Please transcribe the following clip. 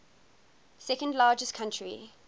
second largest country